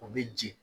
O bɛ jigin